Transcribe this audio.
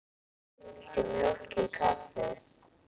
Viltu mjólk í kaffið?